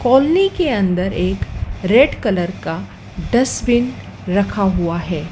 Colony के अंदर एक रेड कलर का डस्टबिन रखा हुआ है।